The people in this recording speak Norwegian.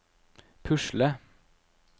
pusle